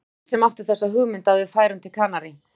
Það var hann sem átti þessa hugmynd að við færum til Kanarí.